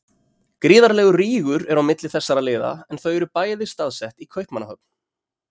Gríðarlegur rígur er á milli þessara liða en þau eru bæði staðsett í Kaupmannahöfn.